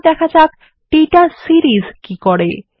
এরপর দেখা যাক দাতা সিরিস কি করে